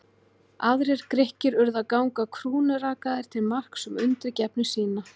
Aðrir Grikkir urðu að ganga krúnurakaðir til marks um undirgefni sína.